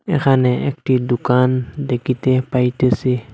এখানে একটি দুকান দেকিতে পাইতেসি।